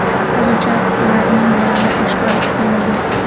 Hozircha ularning nomi oshkor etilmagan.